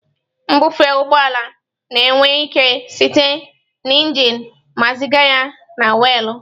Mbufe ụgbọ ala na-ewe ike site na injin ma ziga ya na weelụ.